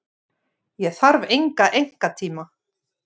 Ég þarf enga einkatíma.